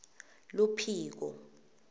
luphiko